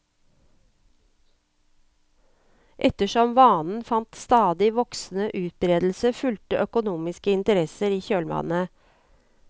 Ettersom vanen fant stadig voksende utbredelse, fulgte økonomiske interesser i kjølvannet.